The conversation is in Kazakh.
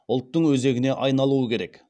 ұлттың өзегіне айналуы керек